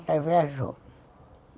Ela viajou.